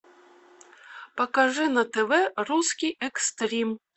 покажи на тв русский экстрим